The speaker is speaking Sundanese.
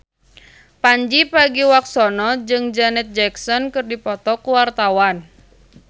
Pandji Pragiwaksono jeung Janet Jackson keur dipoto ku wartawan